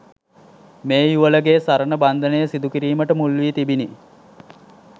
මේ යුවලගේ සරණ බන්ධනය සිදු කිරීමට මුල්වී තිබිනි